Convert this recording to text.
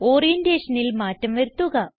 ഓറിയന്റേഷനിൽ മാറ്റം വരുത്തുക